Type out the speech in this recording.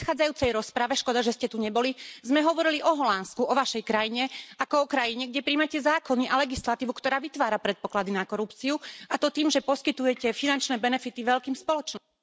V predchádzajúcej rozprave škoda, že ste tu neboli sme hovorili o Holandsku, o vašej krajine, ako o krajine, kde prijímate zákony a legislatívu, ktorá vytvára predpoklady na korupciu, a to tým, že poskytujete finančné benefity veľkým spoločnostiam...